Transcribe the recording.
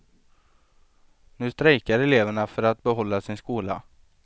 Nu strejkar eleverna för att behålla sin skola.